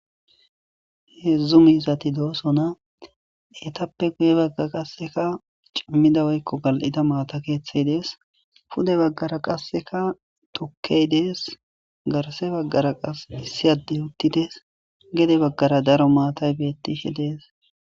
Heedzdzu miizati doosona etappe guye bagga qasseka cimmida woykko gal'ida maata keeththey dees pude baggara qasseka tokkey dees garse baggara qas issi addey uttidees gede baggara daro maatay betti he dees